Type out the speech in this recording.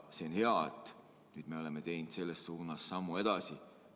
See on hea, et nüüd me oleme teinud selles suunas sammu edasi.